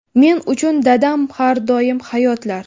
Men uchun dadam har doim hayotlar.